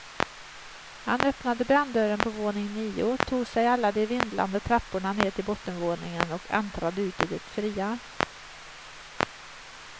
Han öppnade branddörren på våning nio, tog sig alla de vindlande trapporna ned till bottenvåningen och äntrade ut i det fria.